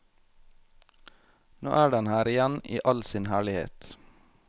Nå er den her igjen i all sin herlighet.